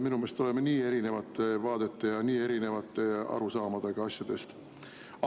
Minu meelest me oleme nii erinevate vaadete ja nii erinevate arusaamadega asjadest.